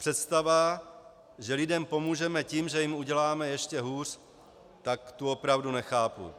Představa, že lidem pomůžeme tím, že jim uděláme ještě hůř, tak tu opravdu nechápu.